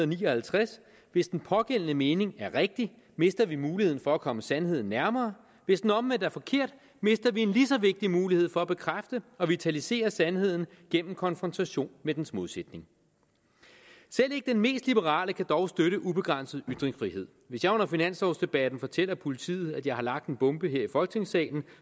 ni og halvtreds hvis den pågældende mening er rigtig mister vi muligheden for at komme sandheden nærmere hvis den omvendt er forkert mister vi en lige så vigtig mulighed for at bekræfte og vitalisere sandheden gennem konfrontation med dens modsætning selv ikke den mest liberale kan dog støtte ubegrænset ytringsfrihed hvis jeg under finanslovdebatten fortæller politiet at jeg har lagt en bombe her i folketingssalen